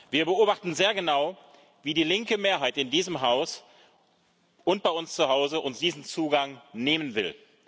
Wir beobachten sehr genau, wie die linke Mehrheit in diesem Haus und bei uns zu Hause uns diesen Zugang nehmen will.